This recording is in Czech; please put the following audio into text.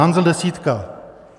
Hanzel desítka.